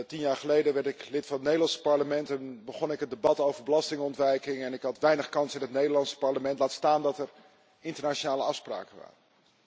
Tien jaar geleden werd ik lid van het Nederlands parlement en begon ik het debat over belastingontwijking, waarmee ik weinig kans had in het Nederlands parlement, laat staan dat er internationale afspraken waren.